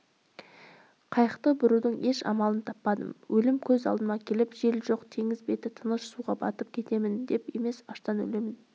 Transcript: қайықты бұрудың еш амалын таппадым өлім көз алдыма келіп жел жоқ теңіз беті тыныш суға батып кетемін деп емес аштан өлемін